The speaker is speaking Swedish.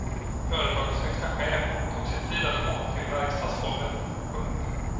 Företagets högsta chef tog sig tid att komma till verkstadsgolvet. punkt